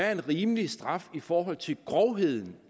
er en rimelig straf i forhold til grovheden